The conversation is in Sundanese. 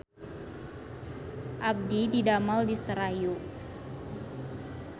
Abdi didamel di Serayu